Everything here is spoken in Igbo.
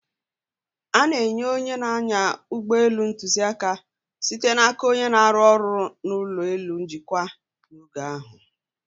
A na-enye onye na-anya ụgbọ elu ntuziaka, site n'aka onye na-arụ ọrụ n'ụlọ elu njikwa, n'oge ahụ.